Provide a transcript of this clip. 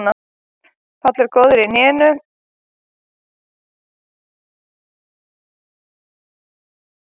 Páll er ekki góður í hnénu og það tekur örugglega nokkrar vikur.